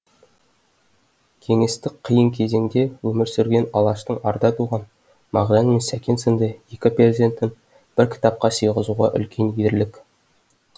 кеңестік қиын кезеңде өмір сүрген алаштың арда туған мағжан мен сәкен сынды екі перзентін бір кітапқа сыйғызу үлкен ерлік